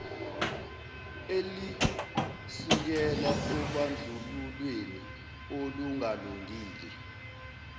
elisukela obandlululweni olungalungile